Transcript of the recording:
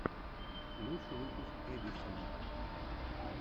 лучший выпуск эдисона